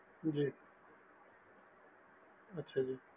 ਜੀ ਅੱਛਾ ਜੀ